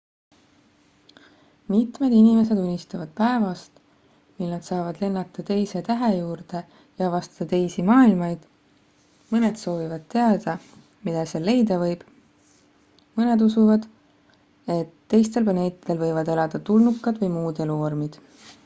mitmed inimesed unistavad päevast mil nad saavad lennata teise tähe juurde ja avastada teisi maailmaid mõned soovivad teada mida seal leida võib mõned usuvad et teistel planeetidel võivad elada tulnukad või muud eluvormid